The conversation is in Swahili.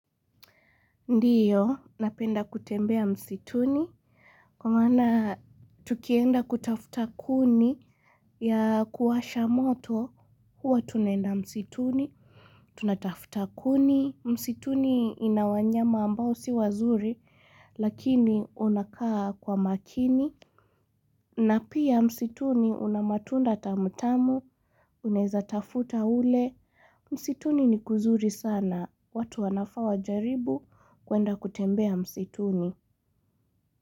Ndiyo, napenda kutembea msituni, kwa maana tukienda kutafuta kuni ya kuwasha moto, huwa tunaenda msituni, tunatafuta kuni. Msituni ina wanyama ambao si wazuri, lakini wanakaa kwa makini. Na pia msituni una matunda tamutamu, unaeza tafuta ule, msituni ni kuzuri sana. Watu wanafaa wajaribu kuenda kutembea msituni.